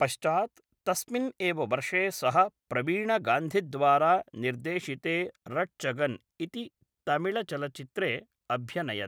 पश्चात् तस्मिन् एव वर्षे सः प्रवीणगान्धिद्वारा निर्देशिते रट्चगन् इति तमिळचलच्चित्रे अभ्यनयत्।